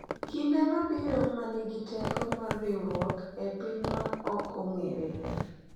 Kinde mabiro ma nigi teko mar riwruok e piny ma ok ong’ere,